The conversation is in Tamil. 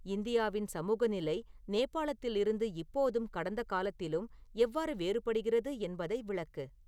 இந்தியாவின் சமூக நிலை நேபாளத்தில் இருந்து இப்போதும் கடந்த காலத்திலும் எவ்வாறு வேறுபடுகிறது என்பதை விளக்கு